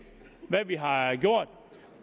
hvad vi har gjort